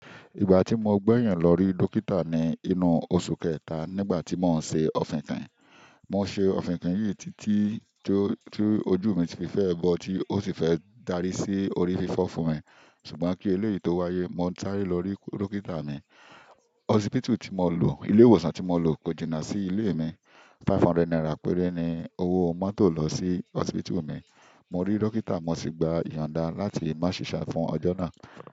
Ìgbà tí mo gbẹ̀yìn lọ rí dókítà ni inú oṣù kẹta nígbà tí mò ń ṣe òfinkin. Mò ń ṣe òfinkin yìí títí tí ojú mi ti fẹ́ẹ bọ̀ tí ó sì fẹ́ darí sí orí fífọ́ fún mi. Ṣùgbọ́n kí eléyìí tó wáyé, mo sàre lọ rí dókítà mi. Hósípítù tí mo lọ, ilé ìwòsàn tí mo lọ kò jìnnà sí ilé mi. Ẹ̀ẹ́dẹ́gbẹ̀ta náírà péré ni owó mọ́tò lọ sí hósípítù mi. Mo rí dókítà, mo sì gba ìyonda láti má sìṣe fún ọjọ́ náà.